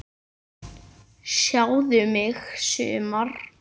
Sjáðu mig sumar!